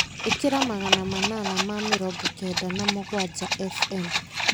ĩkĩra magana manana ma mĩrongo kenda na mũgwanja f.m.